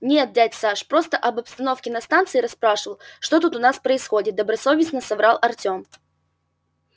нет дядь саш просто об обстановке на станции расспрашивал что тут у нас происходит добросовестно соврал артем